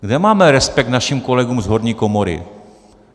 Kde máme respekt našim kolegům z horní komory?